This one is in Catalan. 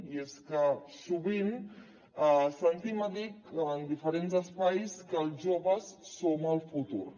i és que sovint sentim a dir en diferents espais que els joves som el futur